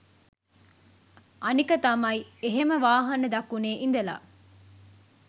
අනික තමයි එහෙම වාහන දකුණෙ ඉඳලා